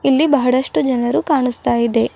ಇಲ್ಲಿ ಬಹಳಷ್ಟು ಜನರು ಕಾಣಿಸ್ತಾ ಇದೆ.